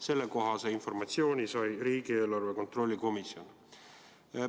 Sellekohase informatsiooni sai riigieelarve kontrolli erikomisjon.